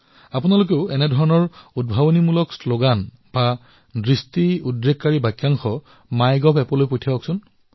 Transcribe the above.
এতিয়া আপোনালোকেও এনেকুৱা উদ্ভাৱনী শ্লগান অথবা খণ্ড বাক্য মাই গভলৈ প্ৰেৰণ কৰিব পাৰে